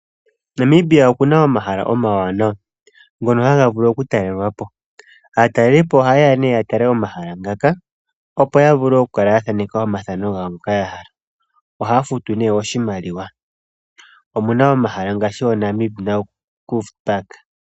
Namibia okuna omahala omawanawa ngono haga vulu oku talelwapo. Aatalelipo ohayeya nee ya tale omahala ngaka, opo ya vule oku kala ya thaneka omathano gawo ngoka ya hala. Ohaya futu nee oshimaliwa. Omuna omahala ngaashi oNamib Naukluft Park.